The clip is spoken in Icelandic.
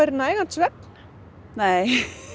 nægan svefn nei